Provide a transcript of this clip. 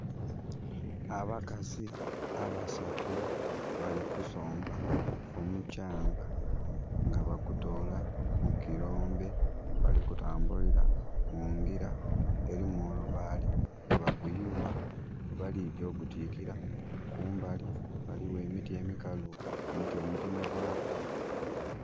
Abakazi abasatu bali kusomba omukyanga nga bagutola mu kilombe bali kutambulira mungira elimu olubaale, bwebaguyugha ghebaligya okutwikira, kumbali waliwo emiti emikalu no mutemegwaku.